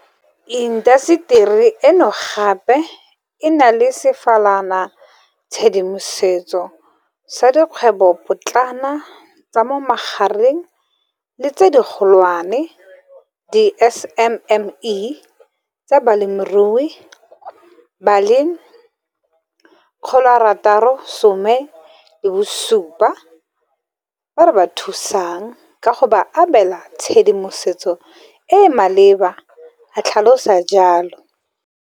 Intaseteri eno gape e na le sefalanatshedimoso sa dikgwebopotlana, tsa mo magareng le tse digolwane di SMME tsa balemirui ba le 670 ba re ba thusang ka go ba abela tshedimosetso e e maleba, o tlhalosa jalo.